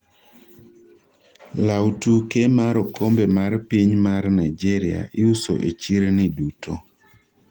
lawu tuke mar okombe mar piny mar Nigeria iuso e chirni duto